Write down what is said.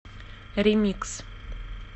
ремикс